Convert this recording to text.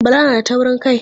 Bala na da taurin kai.